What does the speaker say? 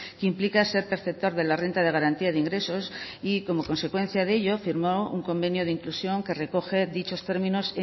que implica ser perceptor de la renta de garantía de ingresos y como consecuencia de ello firmó un convenio de inclusión que recoge dichos términos